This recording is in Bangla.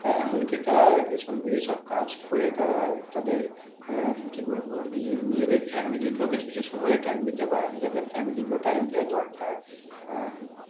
আহ এমন কি তারা এই সব কাজ করে তারা তাদের আহ কি বলবো নিজেদের family কেও কিছু কিছু সময় time দিতে পারেনি তাদের family কেও time দেওয়া দরকার আহ